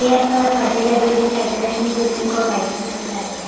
Chair पर पर्दे लगे हुए दिखाई दे रहे हैं जो पिंक और व्हाइट कलर के दिखाई दे रहे हैं ।